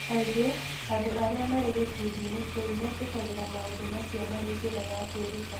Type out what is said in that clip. Kaingĩ, andũ arĩa marĩ gĩkundi-inĩ kĩu nĩ metĩkagĩra maũndũ macio marĩ njĩra ya kwĩruta.